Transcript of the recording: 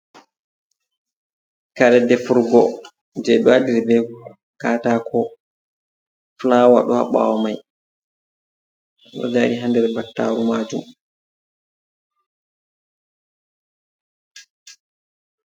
Kare defurgo jeɓe waɗir bé katako fulawa ɗon ha ɓawo mai ɗo dari ha nder battaru majum.